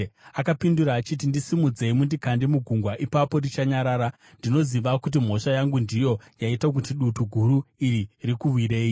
Akapindura achiti, “Ndisimudzei mundikande mugungwa, ipapo richanyarara. Ndinoziva kuti mhosva yangu ndiyo yaita kuti dutu guru iri rikuwirei.”